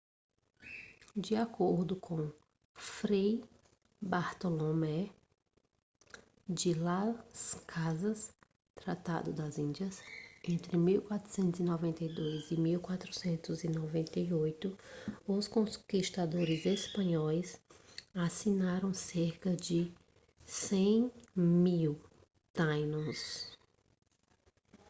de acordo com fray bartolomé de las casas tratado das índias entre 1492 e 1498 os conquistadores espanhóis assassinaram cerca de 100.000 taínos